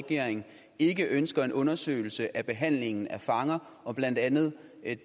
regering ikke ønsker en undersøgelse af behandlingen af fanger og blandt andet